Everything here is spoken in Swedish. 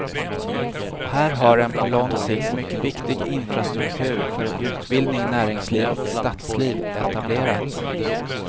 Här har en på lång sikt mycket viktig infrastruktur för utbildning, näringsliv och stadsliv etablerats.